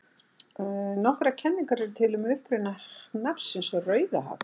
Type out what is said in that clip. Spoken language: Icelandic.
Nokkrar kenningar eru til um uppruna nafnsins Rauðahaf.